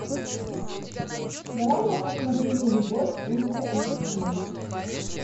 давай я посмотрю нелюбовь ультра эйч ди